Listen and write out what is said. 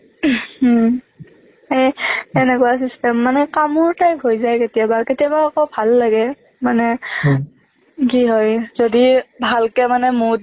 হম এনেকুৱা system মানে কামোৰ হৈ যায় কেতিয়াবা কেতিয়াবা ভাল লাগে মানে কি হয় যদি ভালকে মানে mood